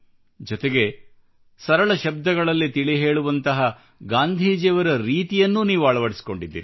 ಜೊತೆಗೆ ಸರಳ ಶಬ್ದಗಳಲ್ಲಿ ತಿಳಿ ಹೇಳುವಂತಹ ಗಾಂಧೀಜಿಯವರ ರೀತಿಯನ್ನು ನೀವು ಅಳವಡಿಸಿಕೊಂಡಿದ್ದೀರಿ